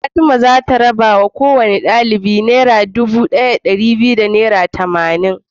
Fatima zata raba wa kowane ɗalibi naira Dubu biyu da dari daya da tamanin